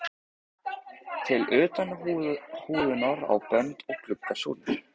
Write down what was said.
til utan húðunar á bönd og glugga súlur.